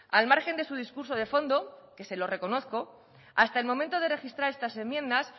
al margen de su discurso de fondo que se lo reconozco hasta el momento de registrar estas enmiendas